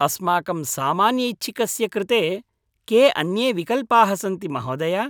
अस्माकं सामान्यैच्छिकस्य कृते के अन्ये विकल्पाः सन्ति महोदय?